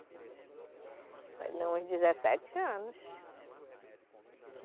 Beber muito novinho? Não, uns dezessete anos